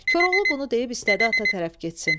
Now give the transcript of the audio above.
Koroğlu bunu deyib istədi ata tərəf getsin.